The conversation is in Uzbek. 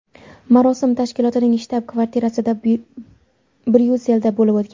Marosim tashkilotning shtab-kvartirasida Bryusselda bo‘lib o‘tgan.